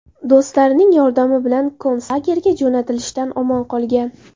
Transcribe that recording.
Do‘stlarining yordami bilan konslagerga jo‘natilishdan omon qolgan.